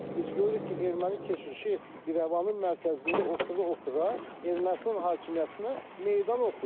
Biz görürük ki, erməni keşişi İrəvanın mərkəzində otura-otura Ermənistan hakimiyyətinə meydan oxuyur.